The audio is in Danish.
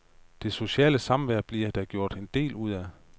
Det sociale samvær bliver der gjort en del ud af.